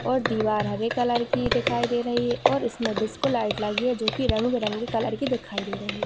और दीवार हरे कलर की दिखाई दे रही है और इसमें डिस्को लाइट लगी है जो की रंग बिरंगी कलर की दिखाई दे रही--